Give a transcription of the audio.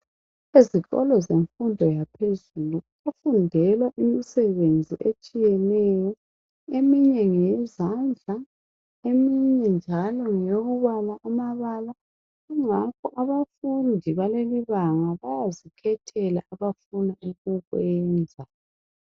Ezikolo zemfundo yaphezulu kuyafundelwa imisebenzi etshiyeneyo, eminye nyeyezandla, eminye njalo ngeyokubala amabala. Kungakho abafundi balelibanga bayazikhethela abafuna ukukwenza.